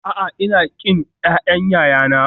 A'a, Ina ƙin ƴaƴan ƴaƴana